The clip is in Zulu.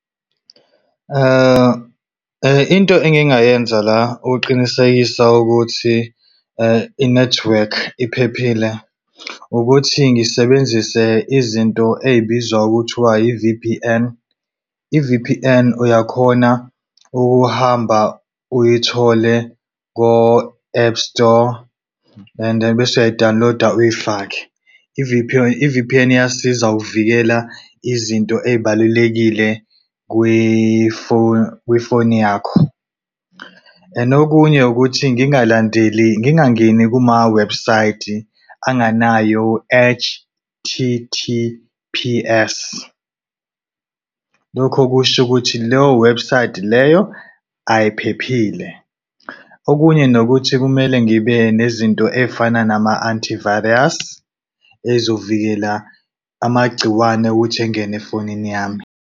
Into engingayenza la ukuqinisekisa ukuthi i-network iphephile ukuthi ngisebenzise izinto ey'bizwa ngokuthi i-V_P_N. I-I_V_P_N uyakhona ukuhamba uyithole ko-App Store and then bese uyadawuniloda uyifake. i-V_P_N iyasiza ukuvikela izinto ey'balulekile kwifoni yakho. And okunye ukuthi ngingalandeleli, ngingangeni kuma-website anganayo H_T_T_P_S. Lokho kusho ukuthi leyo website leyo ayiphephile. Okunye nokuthi kumele ngibe nezinto ey'fana nama-anti virus ey'zokuvikela amagciwane ukuthi engene efonini yami.